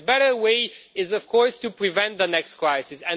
The better way is, of course, to prevent the next crisis.